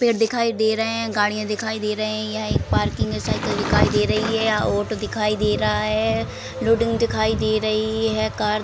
पेड़ दिखाई दे रहे हैं। गाड़ियाँ दिखाई दे रही हैं। यह एक पार्किंग है। साइकिल दिखाई दे रही है। ऑटो दिखाई दे रहा है। लोडिंग दिखाई दे रही है। कार --